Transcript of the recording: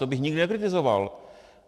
To bych nikdy nekritizoval.